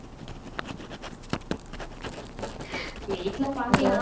வீட்ல பார்க்கலாம்